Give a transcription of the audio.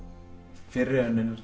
fyrri önninni